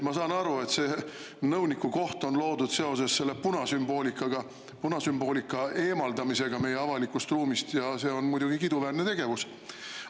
Ma saan aru, et see nõuniku koht on loodud seoses selle punasümboolikaga, punasümboolika eemaldamisega meie avalikust ruumist ja see on muidugi kiiduväärne tegevus.